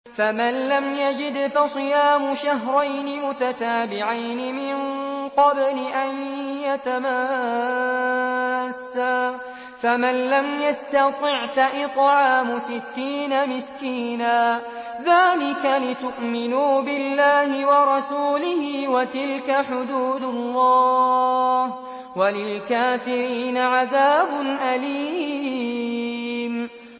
فَمَن لَّمْ يَجِدْ فَصِيَامُ شَهْرَيْنِ مُتَتَابِعَيْنِ مِن قَبْلِ أَن يَتَمَاسَّا ۖ فَمَن لَّمْ يَسْتَطِعْ فَإِطْعَامُ سِتِّينَ مِسْكِينًا ۚ ذَٰلِكَ لِتُؤْمِنُوا بِاللَّهِ وَرَسُولِهِ ۚ وَتِلْكَ حُدُودُ اللَّهِ ۗ وَلِلْكَافِرِينَ عَذَابٌ أَلِيمٌ